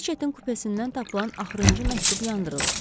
Reçetin kupesindən tapılan axırıncı məktub yandırılıb.